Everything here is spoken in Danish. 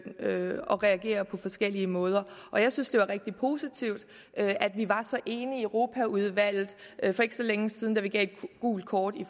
at reagere på forskellige måder og jeg synes det var rigtig positivt at vi var så enige i europaudvalget for ikke så længe siden da vi gav et gult kort i